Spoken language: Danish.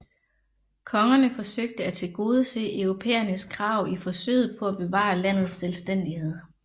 Kongerne forsøgte at tilgodese europæernes krav i forsøget på at bevare landets selvstændighed